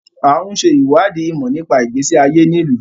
À ń ṣe ìwádìí ìmọ̀ nípa ìgbésí ayé ní ìlú.